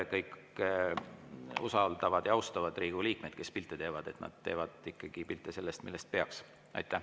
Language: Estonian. Kõik usaldavad ja austavad Riigikogu liikmeid, kes pilte teevad, et nad teevad pilte sellest, millest peaks.